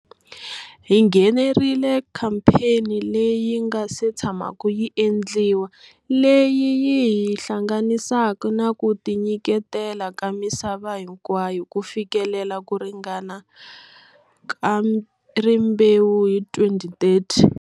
Hi nghenerile khampheni leyi nga se tshamaku yi endliwa leyi yi hi hlanganisaka na kutinyiketela ka misava hinkwayo ku fikelela ku ringana ka rimbewu hi 2030.